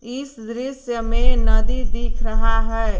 इस दृश्य में नदी दिख रहा है।